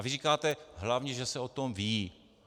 A vy říkáte: Hlavně že se o tom ví.